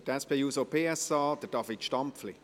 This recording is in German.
Für die SP-JUSO-PSA, David Stampfli.